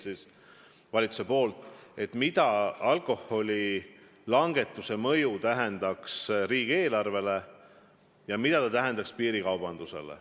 Need käsitlesid alkoholiaktsiisi langetuse mõju riigieelarvele ja piirikaubandusele.